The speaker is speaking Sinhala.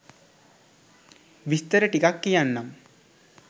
විස්තර ටිකක් කියන්නම්